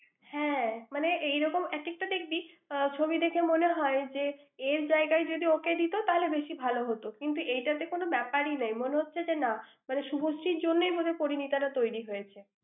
হ্যাঁ। মানে এরকম এক একটা দেখবি আহ ছবি দেখে মনে হয় যে, এর জায়গায় যদি ওকে দিত তাহলে বেশি ভালো হত । কিন্তু এটাকে কোনও ব্যাপারই নেই। মনে হচ্ছে যে না, মানে শুভশ্রীর জন্যই বোধহয় পরিণীতা টা তৈরি হয়েছে।